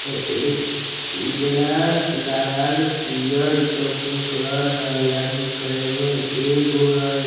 ते एक उजला लाल पियर ई सब के कलर हेय आदमी कएगो हेय एगो हेय ।